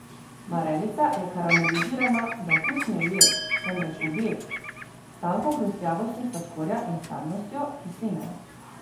Marelica je karamelizirana, da okus ni ujet, temveč objet, s tanko hrustljavostjo sladkorja in sadnostjo kisline.